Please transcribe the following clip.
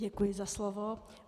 Děkuji za slovo.